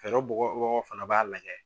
Fɛɛrɛ bugɔ bagaw fana b'a lajɛ